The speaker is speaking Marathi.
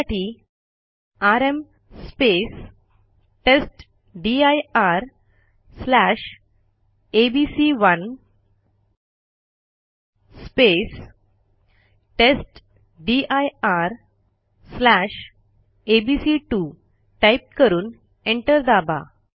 त्यासाठी आरएम testdirएबीसी1 testdirएबीसी2 टाईप करून एंटर दाबा